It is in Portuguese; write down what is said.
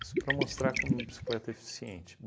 Isso para mostrar como bicicleta é eficiente.